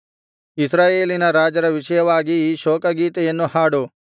ಇಸ್ರಾಯೇಲಿನ ರಾಜರ ವಿಷಯವಾಗಿ ಈ ಶೋಕ ಗೀತೆಯನ್ನು ಹಾಡು